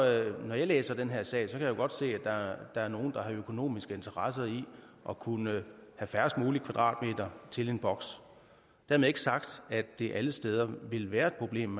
når jeg læser den her sag kan jeg godt se at der er nogen der har en økonomisk interesse i at kunne have færrest mulige kvadratmeter til en boks dermed ikke sagt at det alle steder vil være et problem